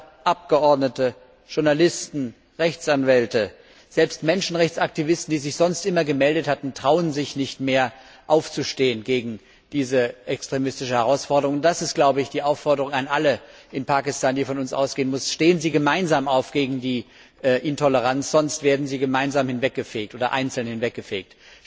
Minister, Abgeordnete, Journalisten, Rechtsanwälte, selbst Menschenrechtsaktivisten, die sich sonst immer gemeldet hatten, trauen sich nicht mehr, gegen diese extremistische Herausforderung aufzustehen. Das ist, glaube ich, die Aufforderung an alle in Pakistan, die von uns ausgehen muss Stehen Sie gemeinsam auf gegen die Intoleranz, sonst werden Sie gemeinsam hinweggefegt oder einzeln hinweggefegt.